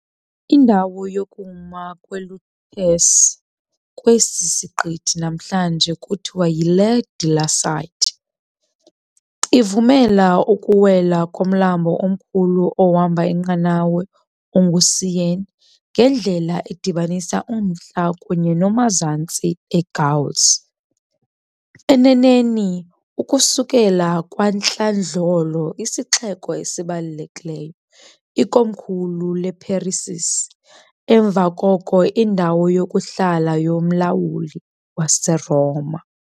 Indawo yokuma kweLutèce, kwesi siqithi namhlanje kuthiwa yi-Ile de la Cité, ivumela ukuwela komlambo omkhulu ohamba inqanawa onguSeine ngendlela edibanisa uMantla kunye noMazantsi eGauls, eneneni ukusukela kwantlandlolo isixeko esibalulekileyo, ikomkhulu leParisisi, emva koko indawo yokuhlala yomlawuli waseRoma.